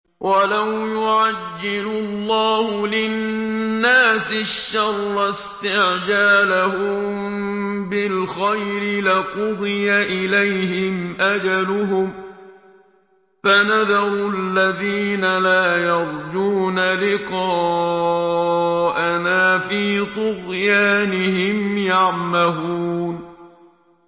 ۞ وَلَوْ يُعَجِّلُ اللَّهُ لِلنَّاسِ الشَّرَّ اسْتِعْجَالَهُم بِالْخَيْرِ لَقُضِيَ إِلَيْهِمْ أَجَلُهُمْ ۖ فَنَذَرُ الَّذِينَ لَا يَرْجُونَ لِقَاءَنَا فِي طُغْيَانِهِمْ يَعْمَهُونَ